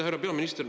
Härra peaminister!